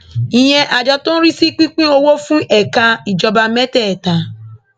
ìyẹn àjọ tó ń rí sí pípín owó fún ẹka ìjọba mẹtẹẹta